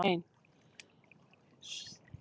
En hér er ein.